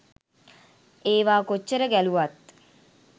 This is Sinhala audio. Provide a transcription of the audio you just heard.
ඒවා කොච්චර ගැලුවත්